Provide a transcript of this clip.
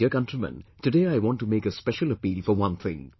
My dear countrymen, today I want to make a special appeal for one thing